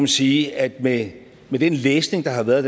sige at med den læsning der har været